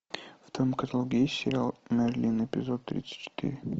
в твоем каталоге есть сериал мерлин эпизод тридцать четыре